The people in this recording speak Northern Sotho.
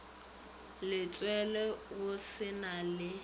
letswele go se na le